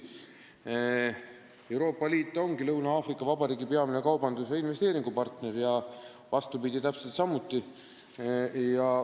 Euroopa Liit ongi Lõuna-Aafrika Vabariigi peamine kaubandus- ja investeeringupartner ning vastupidi täpselt samuti.